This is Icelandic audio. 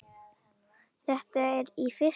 Þetta er í fyrsta skipti.